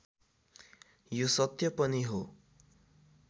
यो सत्य पनि हो